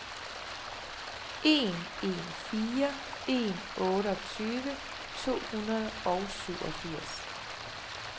en en fire en otteogtyve to hundrede og syvogfirs